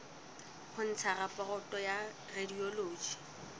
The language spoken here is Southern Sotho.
ho ntsha raporoto ya radiology